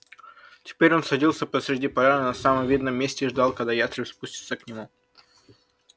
теперь он садился посреди поляны на самом видном месте и ждал когда ястреб спустится к нему